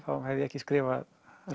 hefði ég ekki skrifað